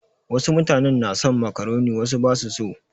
Wasu mutanen na son makaroni wasu ba su so.